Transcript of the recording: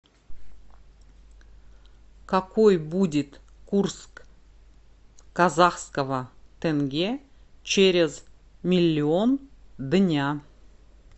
какой будет курс казахского тенге через миллион дня